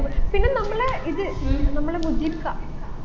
പിന്നെ നമ്മളെ ഇത് നമ്മളെ മുജീബ്ക്ക